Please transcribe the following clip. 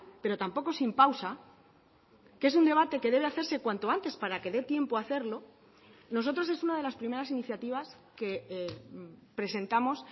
pero tampoco sin pausa que es un debate que debe hacerse cuanto antes para que dé tiempo a hacerlo nosotros es una de las primeras iniciativas que presentamos